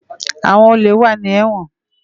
Awòn ólé wà ni èwòn